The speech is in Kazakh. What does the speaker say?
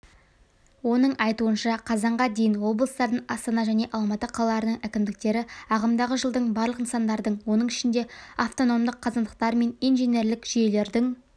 оның айтуынша қазанға дейін облыстардың астана және алматы қалаларының әкімдіктері ағымдағы жылдың барлық нысандардың оның ішінде автономдық қазандықтар мен инженерлік жүйелердің